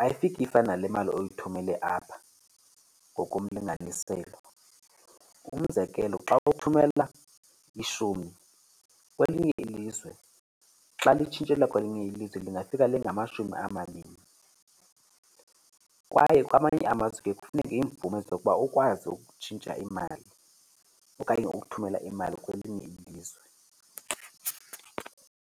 ayifiki ifane nale mali oyithumele apha ngokomlinganiselo. Umzekelo, xa uthumela ishumi kwelinye ilizwe, xa litshintshelwa kwelinye ilizwe lingafika lingamashumi amabini. Kwaye kwamanye amazwe kuye kufuneke iimvume zokuba ukwazi ukutshintsha imali okanye ukuthumela imali kwelinye ilizwe.